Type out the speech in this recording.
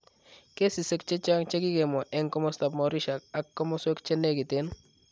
Kesisiek chechang, chekikemwaa eng, komostab Mauritius ak komoswek chenekiten